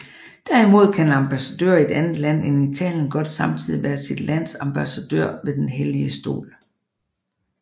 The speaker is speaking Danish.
Derimod kan en ambassadør i et andet land end Italien godt samtidig være sit lands ambassadør ved Den Hellige Stol